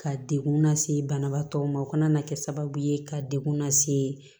Ka dekun lase banabaatɔ ma o kana kɛ sababu ye ka degun lase